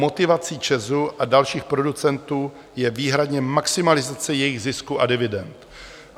Motivací ČEZ a dalších producentů je výhradně maximalizace jejich zisku a dividend.